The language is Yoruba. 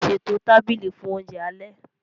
Ṣètò tábìlì fún oúnjẹ alẹ́